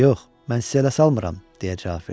Yox, mən sizə ələ salmıram deyə cavab verdi.